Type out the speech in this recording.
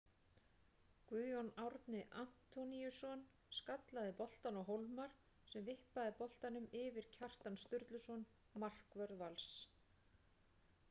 Guðjón Árni Antoníusson skallaði boltann á Hólmar sem vippaði boltanum yfir Kjartan Sturluson markvörð Vals.